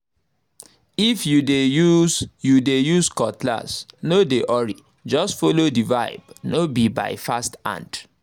if you dey use you dey use cutlass no dey hurry—just follow the vibe no be by fast hand